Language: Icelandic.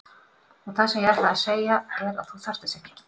Og það sem ég ætlaði að segja er að þú þarft þess ekki.